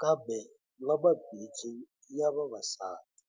kambe na mabindzu ya vavasati.